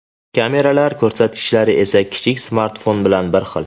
Kameralar ko‘rsatkichlari esa kichik smartfon bilan bir xil.